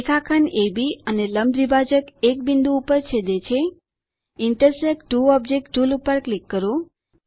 રેખાખંડ અબ અને લંબ દ્વિભાજક એક બિંદુ પર છેદે છે ઇન્ટરસેક્ટ ત્વો ઓબ્જેક્ટ્સ ટુલ પર ક્લિક કરો